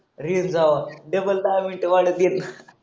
race double दहा मिनटं